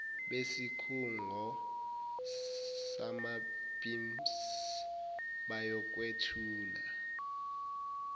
besikhungo samapimss bayokwethula